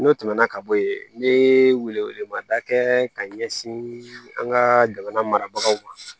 N'o tɛmɛna ka bɔ yen n ye wele wele mada kɛ ka ɲɛsin an ka jamana mara marabagaw ma